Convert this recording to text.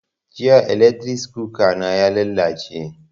Jiya eletris kuka na ya lalace